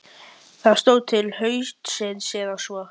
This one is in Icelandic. Ég ræð af orðum þínum svar við spurningu minni.